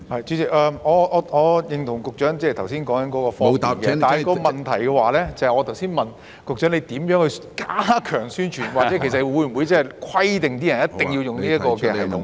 主席，我認同局長剛才所說的方便，但我剛才的問題是局長會如何加強宣傳，或會否規定市民必須使用這個程式呢？